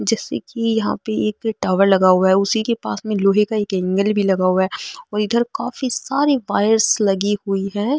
जैसे की यहाँ पे एक टावर लगा हुआ है उसी के पास में एक लोहे का एंगल भी लगा हुआ है और इधर काफी सारी वायरस लगी हुई है।